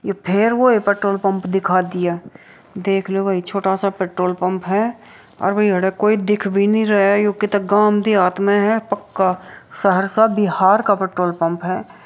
ये फिर वही पेट्रोल पम्प दिखा दिया देख लो भाई छोटा सा पेट्रोल पम्प है और कोइ दिख भी नहीं रहा है ये तो कोई गाँव देहात में है पक्का सहरसा बिहार का पेट्रोल पम्प है।